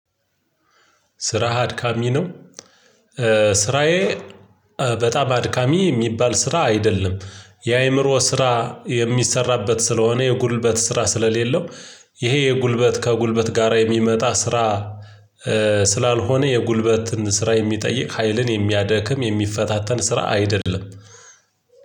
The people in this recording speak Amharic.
ስራህ አድካሚ ነው። ስራዬ በጣም አድካሚ የሚባል ስራ አይደለም የአእምሮ ስራ የሚሰራበት ስለሆነ የጉልበት ስራ ስለሌለው ይሄ የጉልበት ከጉልበት ጋራ የሚመጣ ስራ ስላልሆነ የጉልበትን ስራ የሚጠይቅ ሀይልን የሚያደክም የሚፈታተን ስራ አይደለም።